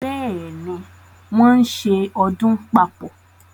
Bẹ́ẹ̀ ni, wọ́n ń ṣe ọdún papọ̀.